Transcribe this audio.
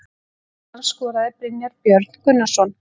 Mark Íslands skoraði Brynjar Björn Gunnarsson.